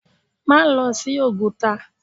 Má lọ sí Oguta!